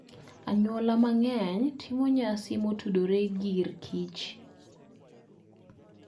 Anyuola mang'eny timo nyasi motudore gi r kich